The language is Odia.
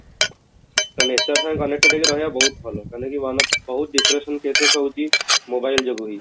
nature ସାଙ୍ଗେ connected ହେଇକି ରହିବା ବହୁତ ଭଲ ମାନେ କି one of ବହୁତ depression cases ହଉଛି mobile ଯୋଗୁଁ ହିଁ